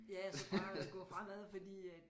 Ja så bare gå fremad fordi at